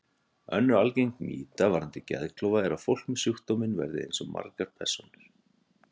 Önnur algeng mýta varðandi geðklofa er að fólk með sjúkdóminn verði eins og margar persónur.